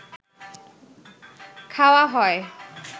খাওয়া হয়